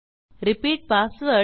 repeat password